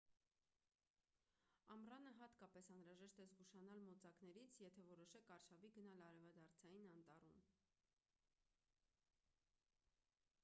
ամռանը հատկապես անհրաժեշտ է զգուշանալ մոծակներից եթե որոշեք արշավի գնալ արևադարձային անտառում